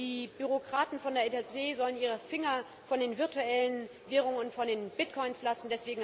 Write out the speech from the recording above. Die Bürokraten von der EZB sollen ihre Finger von den virtuellen Währungen und von den Bitcoins lassen.